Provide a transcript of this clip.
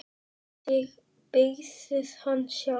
Þið byggðuð hann sjálf.